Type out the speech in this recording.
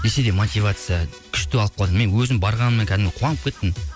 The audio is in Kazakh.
десе де мотивация күшті алып қалдым мен өзім барғаныма кәдімгі қуанып кеттім